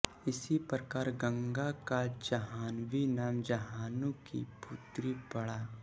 इस प्रकार गंगा का जाह्नवी नाम जाह्नू की पुत्री पड़ा